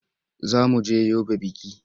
Za mu je Yobe biki.